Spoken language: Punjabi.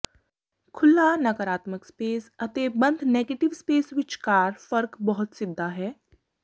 ਖੁੱਲ੍ਹਾ ਨਕਾਰਾਤਮਿਕ ਸਪੇਸ ਅਤੇ ਬੰਦ ਨੈਗੇਟਿਵ ਸਪੇਸ ਵਿਚਕਾਰ ਫਰਕ ਬਹੁਤ ਸਿੱਧਾ ਹੈ